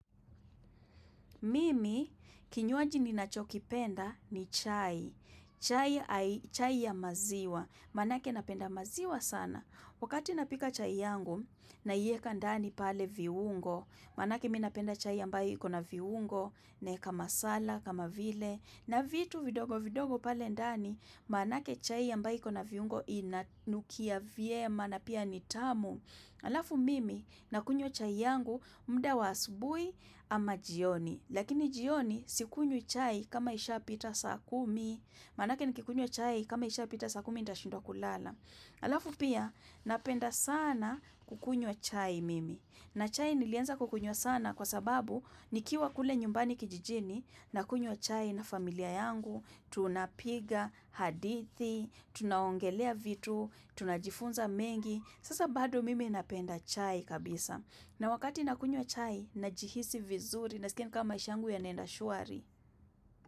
Mimi, kinywaji ninacho kipenda ni chai. Chai ya maziwa. Manake napenda maziwa sana. Wakati napika chai yangu, naieka ndani pale viungo. Manake mi napenda chai ambayo iko na viungo, naeka masala, kama vile. Na vitu vidogo vidogo pale ndani, manake chai ambayo iko na viungo inanukia vyema na pia ni tamu. Alafu mimi na kunywa chai yangu muda wa asubui ama jioni, lakini jioni sikunywi chai kama isha pita saa kumi, manake nikikunywa chai kama isha pita saa kumi ndashindwa kulala. Alafu pia napenda sana kukunywa chai mimi na chai nilianza kukunywa sana kwa sababu nikiwa kule nyumbani kijijini na kunywa chai na familia yangu, tunapiga hadithi, tunaongelea vitu, tunajifunza mengi. Sasa bado mimi napenda chai kabisa na wakati nakunywa chai na jihisi vizuri Nasikia ni kama maisha yangu yanaenda shuari.